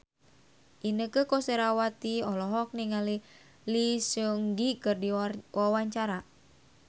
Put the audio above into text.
Inneke Koesherawati olohok ningali Lee Seung Gi keur diwawancara